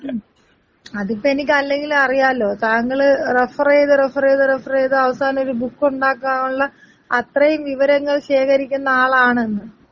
അതിപ്പെനിക്ക് അല്ലെങ്കിലും അറിയാലോ താങ്കള് റഫറീത് റഫറീത് റഫറീത് അവസാനൊരു ബുക്കുണ്ടാക്കാനുള്ള അത്രയും വിവരങ്ങൾ ശേഖരിക്കുന്ന ആളാണെന്ന്.